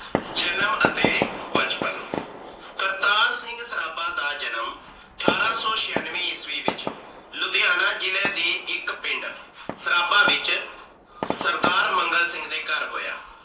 ਜਨਮ ਅਤੇ ਬਚਪਨ ਕਰਤਾਰ ਸਿੰਘ ਸਰਾਬਾ ਦਾ ਜਨਮ ਅਠਾਰਾਂ ਸੋ ਛਿਆਨਵੇਂ ਈਸਵੀ ਵਿਚ ਲੁਧਿਹਾਣਾ ਜਿਲ੍ਹੇ ਦੇ ਇੱਕ ਪਿੰਡ ਸਰਾਬਾ ਵਿਚ ਸਰਦਾਰ ਮੰਗਲ ਸਿੰਘ ਦੇ ਘਰ ਹੋਇਆ।